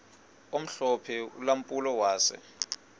omhlophe ulampulo wase